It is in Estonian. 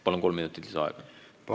Palun kolm minutit lisaaega!